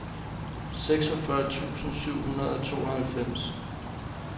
seksogfyrre tusind syv hundrede og tooghalvfems